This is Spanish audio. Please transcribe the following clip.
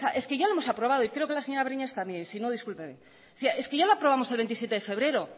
es que ya lo hemos aprobado y creo que la señora breñas también y si no discúlpeme decía es que ya lo aprobamos el veintisiete de febrero